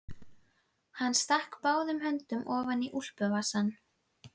Hann stakk báðum höndum ofan í úlpuvasana.